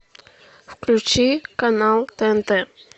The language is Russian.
включи канал тнт